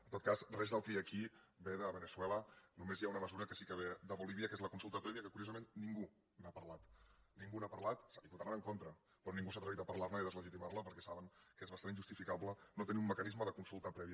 en tot cas res del que hi ha aquí ve de veneçuela només hi ha una mesura que sí que ve de bolívia que és la con·sulta prèvia que curiosament ningú n’ha parlat nin·gú n’ha parlat hi votaran en contra però ningú s’ha atrevit a parlar·ne i deslegitimar·la perquè saben que és bastant injustificable no tenir un mecanisme de consulta prèvia